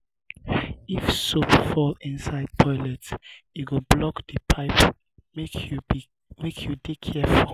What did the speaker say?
if soap fall inside toilet e go block di pipe. make you dey careful.